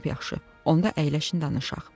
Lap yaxşı, onda əyləşin danışaq.